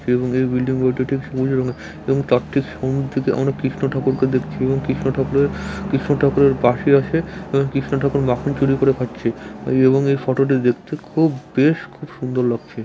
এবং এই বিল্ডিং এবং তার ঠিক সামনের দিকে অনেক কৃষ্ণ ঠাকুরকে দেখচ্ছি এবং কৃষ্ণ ঠাকুরের কৃষ্ণ ঠাকুরের পশে আছে এবং কৃষ্ণ ঠাকুর মাখন চুরি করে খাচ্ছে এবং এই ফটো টি দেখতে খুব বেশ খুব সুন্দর লাগছে ।